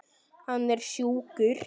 Hann er sjúkur.